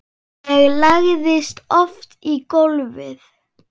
Ég lagðist oft í gólfið.